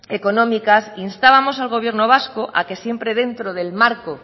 económicas instábamos al gobierno vasco a que siempre dentro del marco